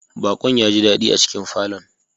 Bakon ya ji dadi a cikin falon.